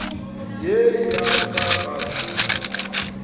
ye ya ka ga se